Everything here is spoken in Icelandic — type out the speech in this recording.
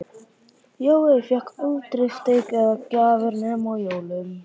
Jói fékk aldrei steik eða gjafir nema á jólunum.